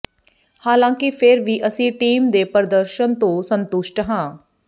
ਹਾਲਾਂਕਿ ਫਿਰ ਵੀ ਅਸੀਂ ਟੀਮ ਦੇ ਪ੍ਰਦਰਸ਼ਨ ਤੋਂ ਸੰਤੁਸ਼ਟ ਹਾਂ